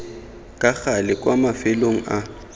ka gale kwa mafelong a